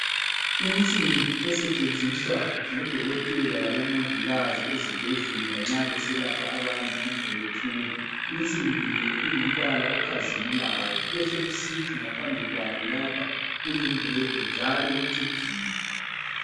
Insimbi esetshenziswa ngodokotela labo mongikazi ezibhedlela nxa beselapha abantu kumbe bethunga. Insimbi le ingumbala okhazimulayo kube sokuthi ngaphambi kwayo lapho kuyingwegwe njalo kucijile.